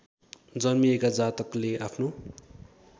जन्मिएका जातकले आफ्नो